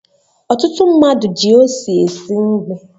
Ọtụtụ mmadụ ji ose esi nri